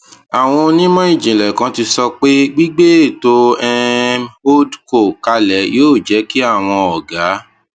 àwọn onímò ìjìnlẹ kan ti sọ pé gbígbé ètò um holdco kalẹ yóò jẹ kí àwọn ògá